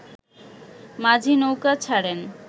মাঝি নৌকা ছাড়েন